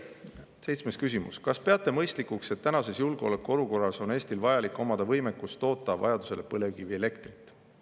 Seitsmes küsimus: "Kas peate mõistlikuks, et tänases julgeolekuolukorras on Eestil vajalik omada võimekust toota vajadusel põlevkivielektrit?